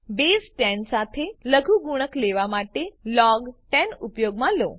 base 10 સાથે લઘુગુણક લેવા માટે લોગ 10 ઉપયોગમાં લો